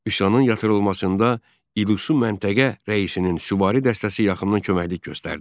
Üsyanın yatırılmasında İlisu məntəqə rəisinin süvari dəstəsi yaxından köməklik göstərdi.